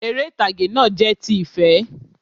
Eré ìtàgé náà jẹ́ ti ìfé